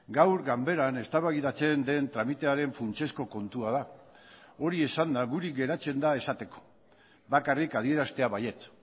gaur ganberan eztabaidatzen den tramitearen funtsezko kontua da hori esanda guri geratzen da esateko bakarrik adieraztea baietz